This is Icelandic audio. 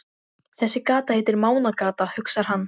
Sævarr, hvenær kemur strætó númer þrjátíu og sex?